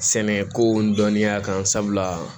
Sɛnɛko dɔnniya kan sabula